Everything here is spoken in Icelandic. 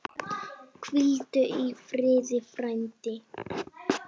Hvíldu í friði, frændi.